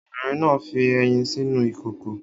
Obìnrin náà fi ẹyin sínú ìkòkò